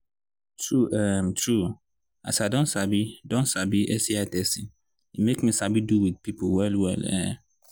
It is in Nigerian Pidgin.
true um true as i don sabi don sabi sti testing e make me sabi do with people well well um